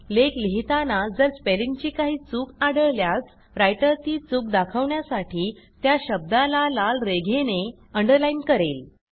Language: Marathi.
लेख लिहिताना जर स्पेलिंगची काही चूक आढळल्यास रायटर ती चूक दाखवण्यासाठी त्या शब्दाला लाल रेघेने अंडरलाईन करेल